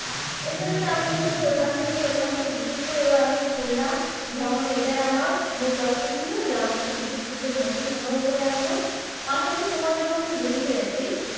ওখান থেকে, ওখান থেকে বিশেষ করে এবার আমি খুলনা ভ্রমণে এটাই আমার মূল লক্ষ ছিল যে আমি কিছু বিশুদ্ধ মধু সংগ্রহ করে আনবো। পাশাপাশি তোমার জন্য কিছু জিনিস এনেছি।